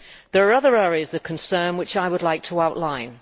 There are other areas of concern which I would like to outline.